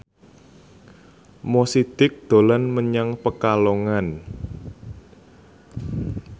Mo Sidik dolan menyang Pekalongan